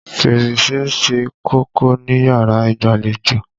Fèrèsé ṣe kókó níyàrá ìgbàlejò.